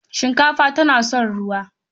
Shinkafa tana son ruwa.